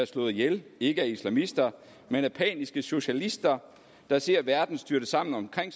slået ihjel ikke af islamister men af paniske socialister der ser verden styrte sammen omkring